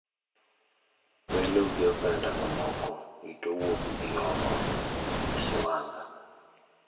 Welo gi oganda mamoko rito wuokgi oko e siwandha.